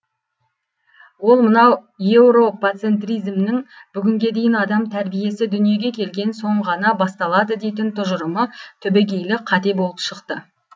ол мынау еуропацентризмнің бүгінге дейін адам тәрбиесі дүниеге келген соң ғана басталады дейтін тұжырымы түбегейлі қате болып шықты